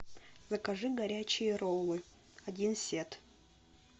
закажи горячие роллы один сет